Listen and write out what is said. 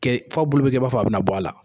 Kɛ f'a bolo bɛkɛ b'a fɔ a bɛna bɔ a la.